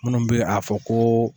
Munnu be a fɔ ko